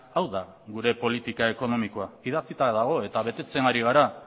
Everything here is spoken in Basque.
hau da gure politika ekonomikoa idatzita dago eta betetzen ari gara